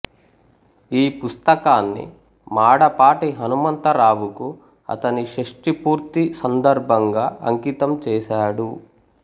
ఈ పుస్తకాన్ని మాడపాటి హనుమంతరావుకు అతని షష్టి పూర్తి సందర్భంగా అంకితం చేసాడు